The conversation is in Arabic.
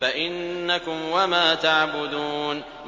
فَإِنَّكُمْ وَمَا تَعْبُدُونَ